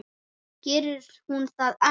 Gerir hún það enn?